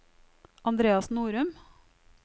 Andreas Norum